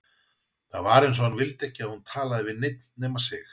Það var eins og hann vildi ekki að hún talaði við neinn nema sig.